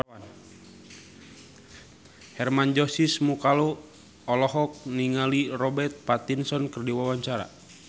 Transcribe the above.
Hermann Josis Mokalu olohok ningali Robert Pattinson keur diwawancara